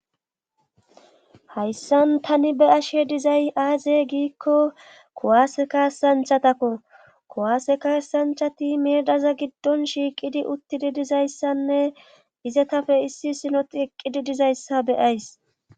hayssan tani be ashe dizay aaze giikko kuwaaseka santhatakko kuwaaseka santhati meedaza giddon shiiqidi uttidi dizayssanne izetafe issi sinoti eqqidi dizayssa beyays